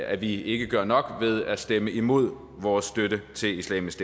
at vi ikke gør nok ved at stemme imod vores støtte til islamisk